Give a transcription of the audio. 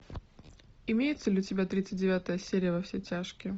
имеется ли у тебя тридцать девятая серия во все тяжкие